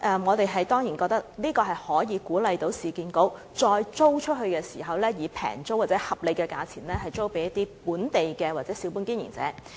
我們當然覺得這可鼓勵市建局在再次出租商鋪時，可以廉宜的租金或合理價錢租給本地小本經營者。